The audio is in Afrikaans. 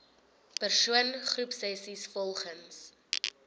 persoon groepsessies volgens